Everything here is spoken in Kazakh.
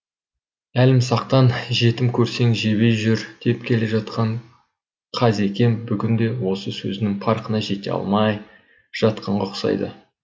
әлімсақтан жетім көрсең жебей жүр деп келе жатқан қазекем бүгінде осы сөздің парқына жете алмай жатқанға ұқсайды